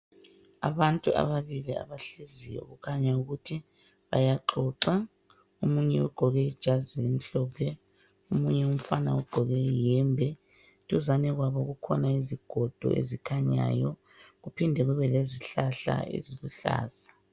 Abantu ababili abahleziyo kukhanya ukuthi bayaxoxa. Omunye ugqoke ijazi elimhlophe, omunye umfana ugqoke ihembe, duzane kwabo kukhona isigodo esikhanyayo kuphinde kube lezihlahla eziluhlaza.